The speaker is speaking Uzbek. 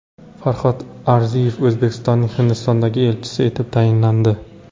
Farhod Arziyev O‘zbekistonning Hindistondagi elchisi etib tayinlandi.